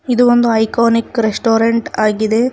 ಇದು ಒಂದು iconic restaurant ಆಗಿದೆ.